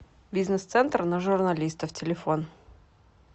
бизнес центр на журналистов телефон